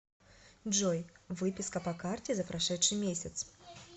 джой выписка по карте за прошедший месяц